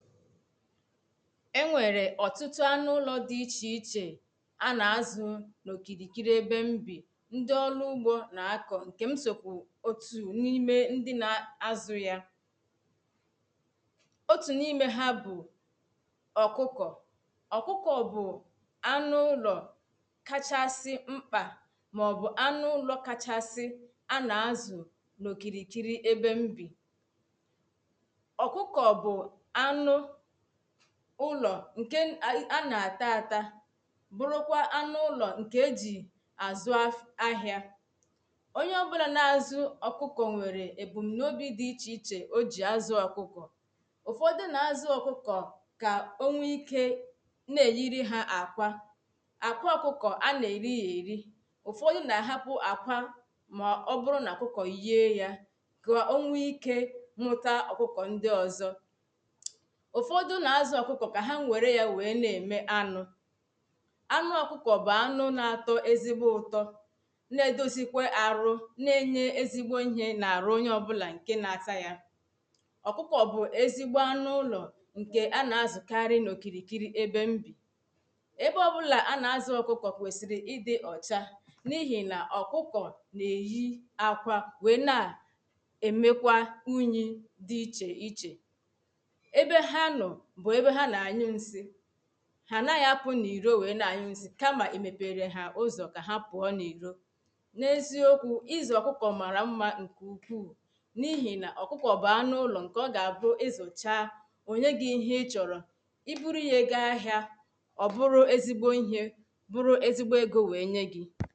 e nwerè ọtụtụ̀ anụ ụlọ̀ dị iche ichè a na azụ̀ dịrị ebe m bì ndị ọlụugbò na akọ nke m sokwà na ime ndị̀ na azụ̀ yà otù na ime ha bụ̀ ọkụkọ̀ okụkọ̀ bụ̀ anụ ụlọ̀ kachasị̀ mkpà maọbụ̀ anụ ụlọ̀ kachasị̀ a na azụ̀ na okirikiri ebè m bì okụkọ̀ bụ̀ anụ̀ ụlọ̀ nke a na ata atà bụrụkwà anụ ụlọ̀ nke e jì azụ ahịà onye ọbụlà na azụ̀ okụkọ̀ nwere ebumunu na obi dị iche iche o ji azụ̀ okụkọ̀ ụfọdụ̀ na azụ okụkọ̀ ka onwe ike na eyiri ha akwà akwà okụkọ̀ a na-eri ya erì ufọdụ̀ na-ahapụ̀ akwà maọbụrụ na okụkọ̀ yie yà ka o nweike mụta okụkọ̀ ndị ọzọ̀ ụfọdụ̀ na-azụ̀ okụkọ̀ ka ha nwere ya na-eme anụ̀ anụ̀ okụkọ̀ bụ anụ na-atọ ezigbo ụtọ̀ na-edozikwe arụ̀ na-enye ezigbo ihe na arụ onye ọbụlà nke na-ata yà okụkọ̀ bụ̀ ezigbo anụ̀ ụlọ̀ nke a na-azụkari na okirikiri ebe m bì ebe ọbụlà a na-azụ ọkụkọ̀ kwesirì ịdị ọchà na ihi na ọkụkọ na-eyi akwà weè na emekwà unyi dị iche ichè ebe ha nọ̀ bụ̀ ebe ha na-anyụ nsị̀ ha anaghị apụ na iro weè na-anyụ nsị̀ kamà emepere ha ụzọ ka ha pụọ na irò na eziokwu, ịzụ̀ ọkụkọ̀ marà mmà nke ukwù na ihi na ọkụkọ̀ bụ̀ anụ ụlọ̀ nke ọ ga-bụ izụchà o nye gi ihe ichọrọ̀ i buru ye ga ahịà ọ bụrụ ezigbo ihè buru ezigbo ego weè nye gì